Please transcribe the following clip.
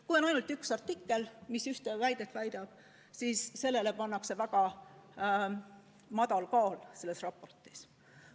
Kui on ainult üks artikkel, mis ühte väidet väidab, siis sellele pannakse väga madal hinne selles raportis.